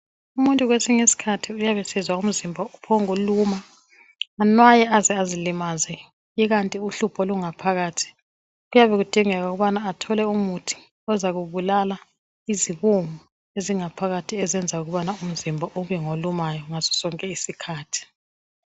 Umuntu kwesinye isikhathi uyabe esizwa umzimba uphongu luma. Anwaye aze azilimaze ikanti uhlupho lungaphakathi. Kuyabe kudingeka ukubana athole umuntu ozakubulala izibungu ezingaphakathi ezenza ukubana umzimba ube ngolumayo ngaso sonke isikhathi.